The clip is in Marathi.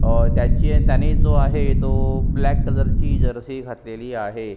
अह त्यांनी जो आहे तो ब्लॅक कलर ची जर्सी घातलेली आहे.